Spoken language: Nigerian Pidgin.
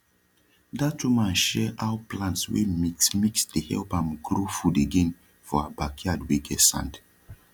dat woman share how plants wey mix mix dey help am grow food again for her backyard wey get sand